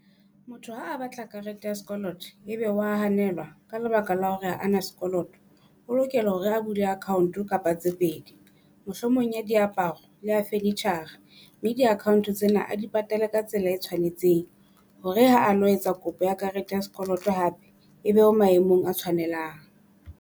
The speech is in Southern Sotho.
Motho ha batla karete ya sekoloto ebe wa hanelwa, ka lebaka la hore a na sekoloto. O lokela hore a bule account kapa tse pedi, mohlomong ya diaparo, le ya furniture-ra. Mme di-account tsena di patale ka tsela e tshwanetseng hore ha a lo etsa kopo ya karete ya sekoloto hape, ebe o maemong a tshwanelang.